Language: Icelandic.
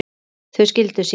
Þau skildu síðar.